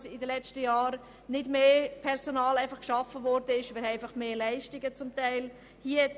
Es wurden während den letzten Jahren nicht mehr Leute eingestellt, sondern einfach mehr Leistungen erbracht.